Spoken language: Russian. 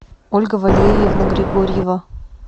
ольга валерьевна григорьева